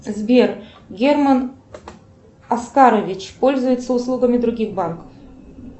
сбер герман оскарович пользуется услугами других банков